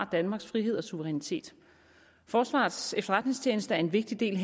danmarks frihed og suverænitet forsvarets efterretningstjeneste er en vigtig del